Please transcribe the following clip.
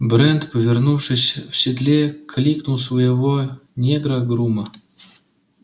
брент повернувшись в седле кликнул своего негра грума